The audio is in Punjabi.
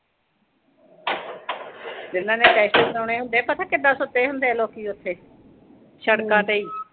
ਜਿਨ੍ਹਾਂ ਨੇ ਟੈਸਟ ਕਰਾਉਣੇ ਹੁੰਦੇ ਆ, ਪਤਾ ਕਿੰਨੇ ਸੁੱਤੇ ਹੁੰਦੇ ਲੋਕੀਂ ਉਥੇ, ਸੜਕਾਂ ਤੇ ਈ।